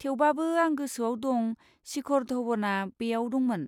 थेवबाबो, आं गोसोआव दं शिखर धवनआ बेयाव दंमोन।